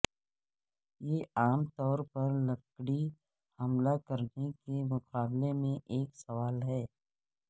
یہ عام طور پر لکڑی حاملہ کرنے کے مقابلے میں ایک سوال ہے